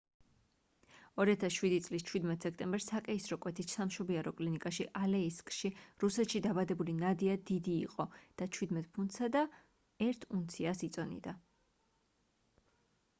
2007 წლის 17 სექტემბერს საკეისრო კვეთით სამშობიარო კლინიკაში ალეისკში რუსეთში დაბადებული ნადია დიდი იყო და 17 ფუნტსა და 1 უნციას იწონიდა